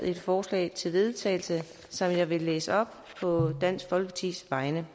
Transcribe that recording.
et forslag til vedtagelse som jeg vil læse op på dansk folkepartis vegne